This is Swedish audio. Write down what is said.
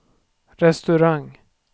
restaurang